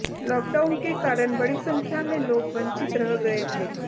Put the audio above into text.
lockdown के कारण बड़ी संख्या में लोग वंचित रह गए थे